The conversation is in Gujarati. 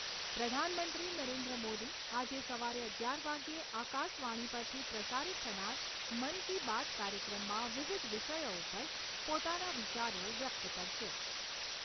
પ્રધાનમંત્રી નરેન્દ્રમોદી આજે સવારે અગિયાર વાગ્યે આકાશવાણી પરથી પ્રસારિત થનાર મન કી બાત કાર્યક્રમમાં વિવિધ વિષયો ઉપર પોતાના વિચારો વ્યક્ત કરશે.